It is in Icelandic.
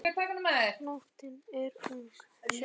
Nóttin er ung